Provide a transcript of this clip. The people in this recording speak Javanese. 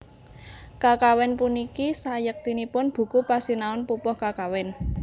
Kakawin puniki sayektinipun buku pasinaon pupuh kakawin